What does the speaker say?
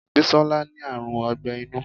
Bisola ní àrùn ogbẹ́ inú